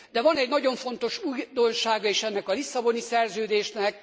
De van egy nagyon fontos újdonsága is ennek a Lisszaboni Szerződésnek.